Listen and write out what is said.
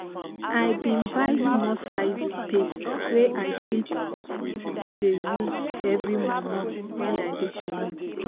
i bin buy small size paste wey i fit dey use every momo when i dey comot.